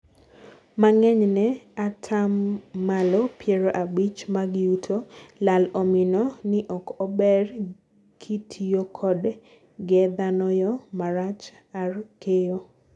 mang'eny ne atamalo piero abich mag yuto lal omino ni ok ober kitiyo kodo ge dhano yo marach ar keyo